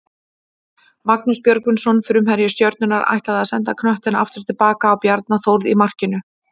Magnús Björgvinsson framherji Stjörnunnar ætlaði að senda knöttinn aftur tilbaka á Bjarna Þórð í markinu.